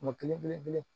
Kuma kelen belebele